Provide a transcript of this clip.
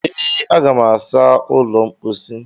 ee, Aga m asa ụlọ mposi